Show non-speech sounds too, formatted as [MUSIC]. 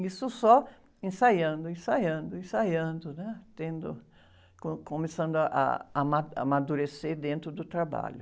Isso só ensaiando, ensaiando, ensaiando, né? Tendo, co, começando ah, a, [UNINTELLIGIBLE] amadurecer dentro do trabalho.